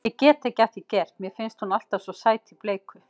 Ég get ekki að því gert, mér finnst hún alltaf svo sæt í bleiku.